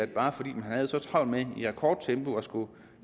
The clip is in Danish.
bare fordi man havde så travlt med i rekordtempo at skulle